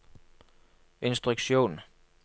instruksjon